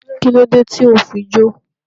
Kílódé tí o fi jó?